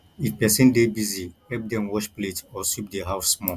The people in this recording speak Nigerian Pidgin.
if person dey busy help dem wash plate or sweep the house small